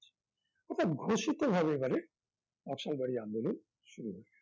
অর্থাৎ ঘোষিতভাবে এবারে নকশাল বাড়ি আন্দোলন শুরু হয়েছে